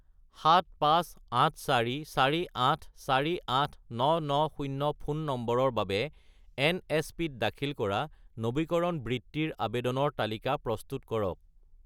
75844848990 ফোন নম্বৰৰ বাবে এনএছপি-ত দাখিল কৰা নবীকৰণ বৃত্তিৰ আবেদনৰ তালিকা প্ৰস্তুত কৰক